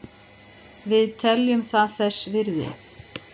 Við teljum það þess virði